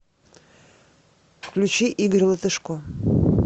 включи игорь латышко